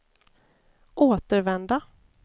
återvända